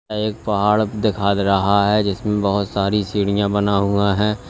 यह एक पहाड़ देखा दे रहा है जिसमें बहोत सारी सीढ़ियां बना हुआ है।